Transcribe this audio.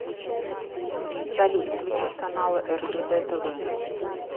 салют включить каналы ржд тв